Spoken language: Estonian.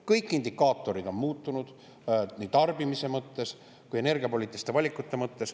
Kõik indikaatorid on muutunud: nii tarbimise mõttes kui ka energiapoliitiliste valikute mõttes.